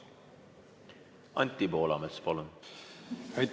Anti Poolamets, palun!